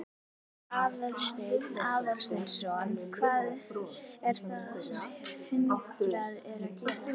Aðalsteinn Aðalsteinsson: Hvað er það sem hundarnir eru að gera?